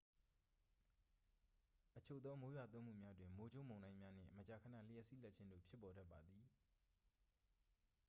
အချို့သော မိုးရွာသွန်းမှုများတွင် မိုးကြိုးမုန်တိုင်းများနှင့် မကြာခဏ လျှပ်စီးလက်ခြင်းတို့ ဖြစ်ပေါ်တတ်ပါသည်